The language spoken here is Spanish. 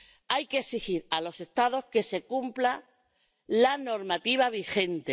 Hay que exigir a los Estados que se cumpla la normativa vigente.